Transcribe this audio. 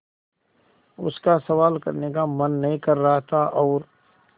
उसका सवाल करने का मन नहीं कर रहा था और